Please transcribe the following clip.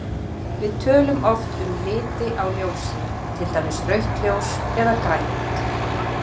Við tölum oft um liti á ljósi, til dæmis rautt ljós eða grænt.